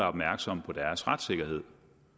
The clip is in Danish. opmærksomme på deres retssikkerhed